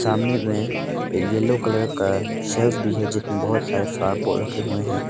सामने में yellow colour का शेल्फ भी है जिसमें बहुत सारे फ्लॉवर पॉट रखे हुए हैं।